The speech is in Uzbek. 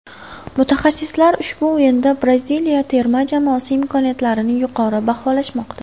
Mutaxassislar ushbu o‘yinda Braziliya terma jamoasi imkoniyatlarini yuqori baholashmoqda.